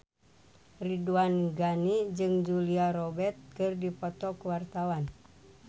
Ridwan Ghani jeung Julia Robert keur dipoto ku wartawan